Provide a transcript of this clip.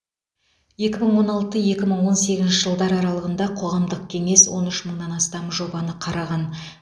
екі мың он алты екі мың он сегізінші жылдар аралығында қоғамдық кеңес он үш мыңнан астам жобаны қараған